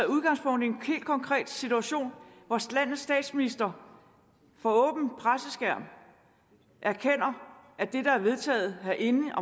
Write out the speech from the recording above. udgangspunkt i en helt konkret situation hvor landets statsminister for åben skærm erkender at det der er vedtaget herinde